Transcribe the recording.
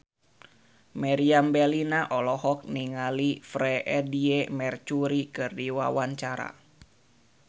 Meriam Bellina olohok ningali Freedie Mercury keur diwawancara